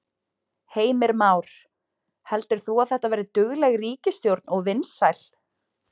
Heimir Már: Heldur þú að þetta verði dugleg ríkisstjórn og vinsæl?